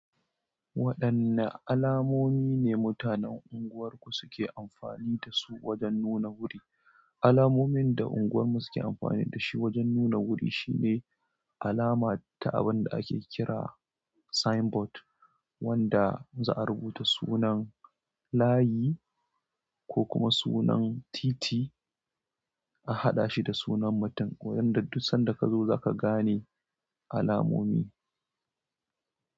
Waɗanne alamomi ne mutanen unguwarku suke amfani da su wajen nuna wuri? Alamomin da unguwarmu suke amfani da shi wajen nuna wuri shine alama ta abin da ake kira sign board, wanda za'a rubuta sunan layi ko kuma sunan titi, a haɗa shi da sunan matum. Wajen da duk sanda ka zo za ka gane alamomi.